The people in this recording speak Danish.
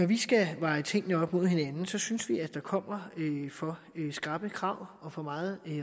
vi skal veje tingene op mod hinanden synes vi at der kommer for skrappe krav og for meget